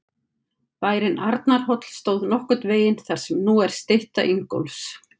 Bærinn Arnarhóll stóð nokkurn veginn þar sem nú er stytta Ingólfs.